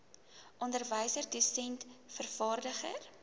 onderwyser dosent vervaardiger